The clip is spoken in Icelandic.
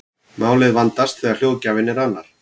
málið vandast þegar hljóðgjafinn er annar